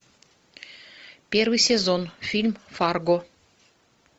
первый сезон фильм фарго